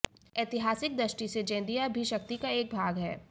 एतिहासिक दृष्टि से ज़ैदिया भी शक्ति का एक भाग है